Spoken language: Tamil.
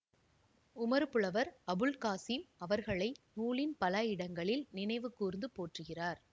உமறுப்புலவர் அபுல் காசீம் அவர்களை நூலின் பல இடங்களில் நினைவு கூர்ந்து போற்றுகிறார்